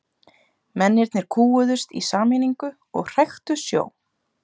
Mennirnir kúguðust í sameiningu og hræktu sjó.